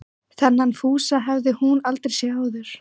Þennan Fúsa hafði hún aldrei séð áður.